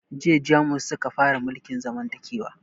Jiya jamus suka fara mulkin zamantakewa